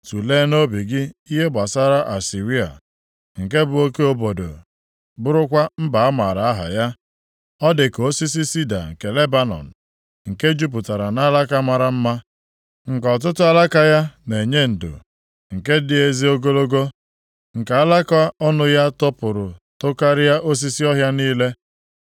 Tulee nʼobi gị ihe gbasara Asịrịa, nke bụ oke obodo bụrụkwa mba a maara aha ya. Ọ dị ka osisi sida nke Lebanọn, nke jupụtara nʼalaka mara mma, nke ọtụtụ alaka ya na-enye ndo, nke dị ezi ogologo, nke alaka ọnụ ya topụrụ tokarịa osisi ọhịa niile.